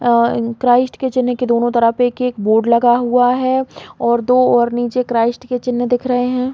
अ Christ के चिन्ह के दोनों तरफ एक -एक बोर्ड लगा हुआ है और दो और नीचे क्राइस्ट के चिन्ह दिख रहै हैं।